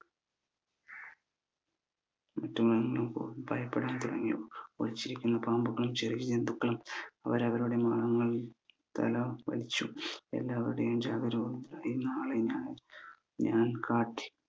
മറ്റ് മൃഗങ്ങളും ഭയപ്പെടാൻ തുടങ്ങി ഒളിച്ചിരിക്കുന്ന പാമ്പുകളും ചെറിയ ജന്തുക്കളും അവരവരുടെ മാളങ്ങളിൽ തല വലിച്ചു എല്ലാവരുടെയും ഞാൻ കാട്ടി